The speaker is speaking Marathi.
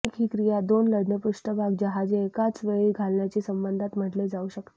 युनिक ही क्रिया दोन लढणे पृष्ठभाग जहाजे एकाचवेळी घालण्याची संबंधात म्हटले जाऊ शकते